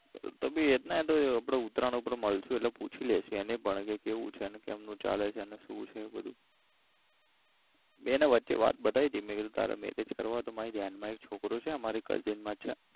તો ભી હેડને તો આપડે ઉતરાયણ પર મલસું એટલે પૂછી લેશું એને પણ કે કેવું છે કેમ નું ચાલે છે ને શું છે બધું મે એને વચ્ચે વાત બતાઈ તી મેં કીધું તારે marriage કરવા હોય તો મારી ધ્યાનમાં એક છોકરો છે મારી cousin માં જ છે.